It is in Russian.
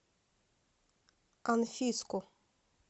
анфиску